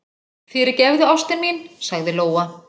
Fyrirgefðu, ástin mín, sagði Lóa.